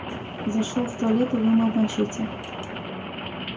зашёл в туалет и вымыл мачете